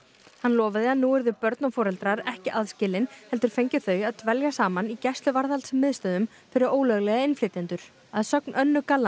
hann lofaði að nú yrðu börn og foreldrar ekki aðskilin heldur fengju þau að dvelja saman í gæsluvarðhalds miðstöðvum fyrir ólöglega innflytjendur að sögn Önnu